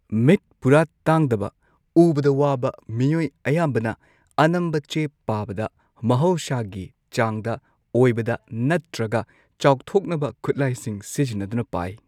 ꯃꯤꯠ ꯄꯨꯔꯥ ꯇꯥꯡꯗꯕ ꯎꯕꯗ ꯋꯥꯕꯥ ꯃꯤꯑꯣꯢ ꯑꯌꯥꯝꯕꯅ ꯑꯅꯝꯕ ꯆꯦ ꯄꯥꯕꯗ ꯃꯍꯧꯁꯥꯒꯤ ꯆꯥꯡꯗ ꯑꯣꯢꯕꯗ ꯅꯠꯇ꯭ꯔꯒ ꯆꯥꯎꯊꯣꯛꯅꯕ ꯈꯨꯠꯂꯥꯢꯁꯤꯡ ꯁꯤꯖꯤꯟꯅꯗꯨꯅ ꯄꯥꯢ꯫